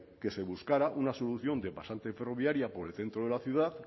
que se buscara una solución de pasante ferroviaria por el centro de la ciudad